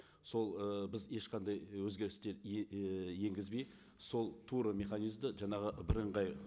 сол ы біз ешқандай өзгерістер і енгізбей сол тура механизмді жаңағы бірыңғай